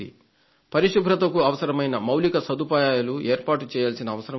పరిశుభ్రతకు అవసరమైన మౌలిక సదుపాయాలను ఏర్పాటుచేయాల్సిన అవసరం ఉంది